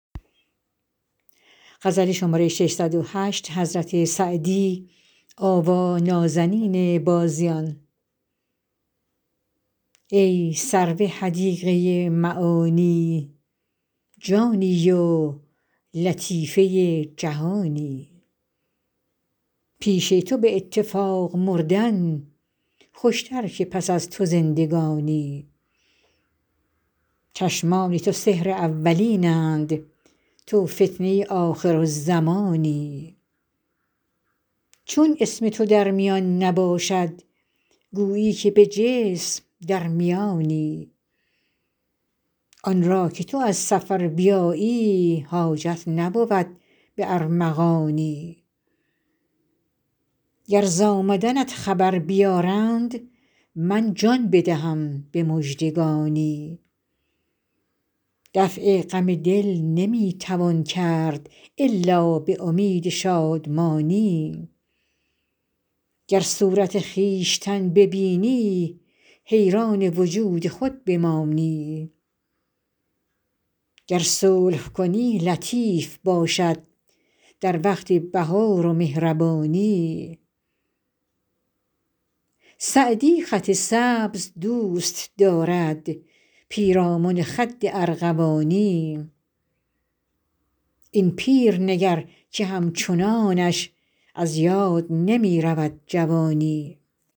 ای سرو حدیقه معانی جانی و لطیفه جهانی پیش تو به اتفاق مردن خوشتر که پس از تو زندگانی چشمان تو سحر اولین اند تو فتنه آخرالزمانی چون اسم تو در میان نباشد گویی که به جسم در میانی آن را که تو از سفر بیایی حاجت نبود به ارمغانی گر ز آمدنت خبر بیارند من جان بدهم به مژدگانی دفع غم دل نمی توان کرد الا به امید شادمانی گر صورت خویشتن ببینی حیران وجود خود بمانی گر صلح کنی لطیف باشد در وقت بهار و مهربانی سعدی خط سبز دوست دارد پیرامن خد ارغوانی این پیر نگر که همچنانش از یاد نمی رود جوانی